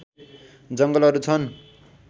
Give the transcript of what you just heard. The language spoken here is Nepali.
जङ्गलहरू छन्